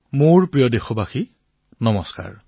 মোৰ মৰমৰ দেশবাসীসকল নমস্কাৰ